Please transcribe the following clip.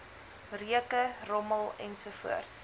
reuke rommel ensovoorts